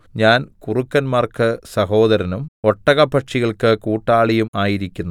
ഞാൻ കുറുക്കന്മാർക്ക് സഹോദരനും ഒട്ടകപ്പക്ഷികൾക്ക് കൂട്ടാളിയും ആയിരിക്കുന്നു